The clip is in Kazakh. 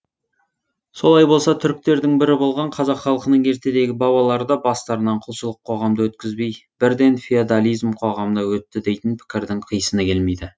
солай болса түріктердің бірі болған қазақ халқының ертедегі бабалары да бастарынан құлшылық қоғамды өткізбей бірден феодализм қоғамына өтті дейтін пікірдің қисыны келмейді